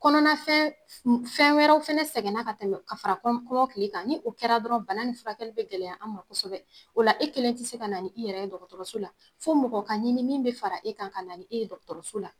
Kɔnɔnafɛn fɛn wɛrɛw fɛnɛ sɛgɛnna ka tɛmɛ ka fara kɔmɔkili kan ni o kɛra dɔrɔn bana nin furakɛli be gɛlɛya an ma kosɛbɛ o la e kelen te se ka na ni i yɛrɛ ye dɔgɔtɔrɔso la fɔ mɔgɔ ka ɲini min be fara e kan ka na ni e ye dɔgɔtɔrɔso la